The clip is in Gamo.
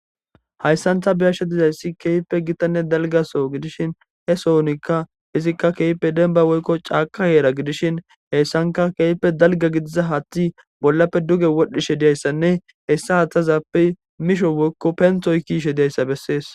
Hayssantha biyashe dizayssi keeype gitanne dalgaso gidishin he sohonikka izikka keepe denba woykko caaka heera gidishin heyssanka keeype dalga gidiza hathi bollappe duge wodhdhishe diyayssanne hessa haththazappe misho woykko penthoy kiishe diyayssa bessees.